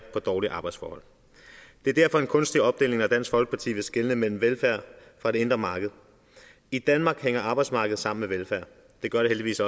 på dårlige arbejdsforhold det er derfor en kunstig opdeling når dansk folkeparti vil skelne mellem velfærd og det indre marked i danmark hænger arbejdsmarked sammen med velfærd det gør det heldigvis